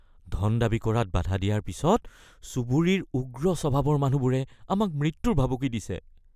ধন দাবী কৰাত বাধা দিয়াৰ পিছত চুবুৰীৰ উগ্ৰ স্বভাৱৰ মানুহবোৰে আমাক মৃত্যুৰ ভাবুকি দিছে